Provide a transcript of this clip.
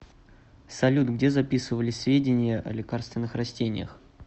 салют где записывались сведения о лекарственных растениях